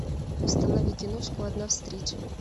установи киношку одна встреча